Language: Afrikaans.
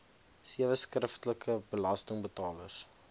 sewe skriftelike belastingbetalers